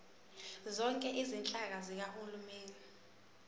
zonke izinhlaka zikahulumeni